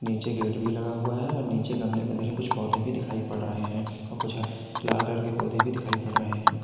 नीचे गेट भी लगा हुआ है और नीचे गमले में धरे कुछ पौधे भी दिखाई पड़ रहे हैं और कुछ है लाल कलर के पौधे भी दिखाई पड़ रहे हैं।